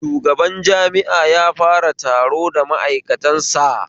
Shugaban jami'a ya fara taro da ma'aikatan sa